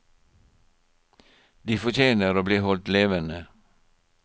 De fortjener å bli holdt levende.